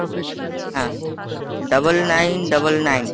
হ্যাঁ double nine double nine